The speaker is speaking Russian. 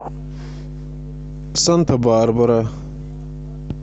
санта барбара